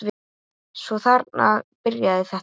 Svo þarna byrjaði þetta.